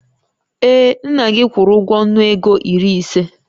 Ee, nna gị kwụrụ ụgwọ nnu ego iri ise